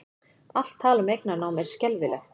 Allt tal um eignarnám er skelfilegt